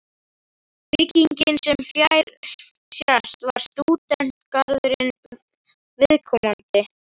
Byggingin, sem fjær sést, var stúdentagarðinum óviðkomandi.